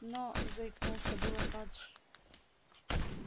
но заикнулся было фадж